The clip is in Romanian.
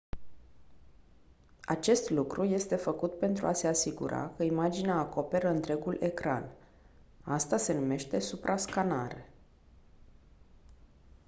acest lucru este făcut pentru a se asigura că imaginea acoperă întregul ecran asta se numește suprascanare